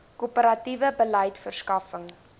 korporatiewe beleid verskaffing